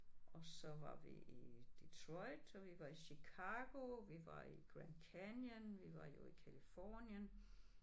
Og så var vi i Detroit og vi var i Chicago vi var i Grand Canyon vi var jo i Californien